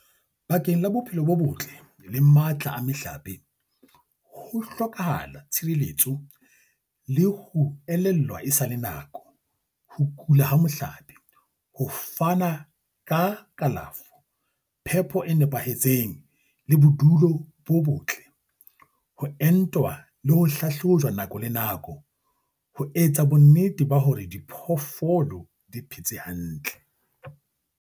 Bakeng la bophelo bo botle le matla a mehlape, ho hlokahala tshireletso le ho elellwa e sa le nako, ho kula ha mohlape, ho fana ka kalafo, phepo e nepahetseng le bodulo bo botle, ho entwa le ho hlahlojwa nako le nako, ho etsa bonnete ba hore diphoofolo di phetse hantle.